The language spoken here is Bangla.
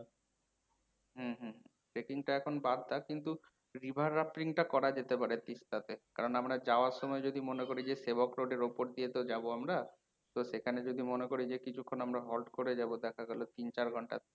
হম হম । trekking টা এখন বাদ থাক কিন্তু river টা করা যেতে পারে আছে কারণ আমরা যাওয়ার সময় যদি মনে করি যে road এর অপর দিয়ে তো যাবো আমরা তো সেখানে যদি মনে করি যে কিছুখন আমরা halt করে যাবো দেখা গেল তিন, চার ঘণ্টা